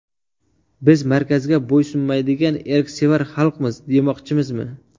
Biz markazga bo‘ysunmaydigan erksevar xalqmiz demoqchimizmi?